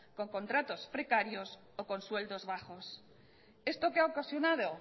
con contratos precarios o con sueldos bajos esto qué ha ocasionado